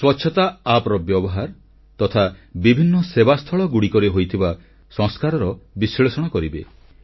ସ୍ୱଚ୍ଛତା app App ର ବ୍ୟବହାର ତଥା ବିଭିନ୍ନ ସେବାସ୍ଥଳଗୁଡ଼ିକରେ ହୋଇଥିବା ସଂସ୍କାରର ବିଶ୍ଳେଷଣ କରିବେ